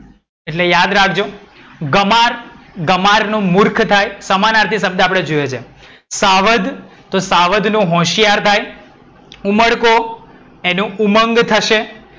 એટ્લે યાદ રાખજો. ગમાર. ગમાર નો મૂર્ખ થાય સમાનાર્થી શબ્દ આપડે જોયો છે. શાવધ. તો શાવધ નું હોશિયાર થાય. ઉમરકો એનું ઉમંગ થશે.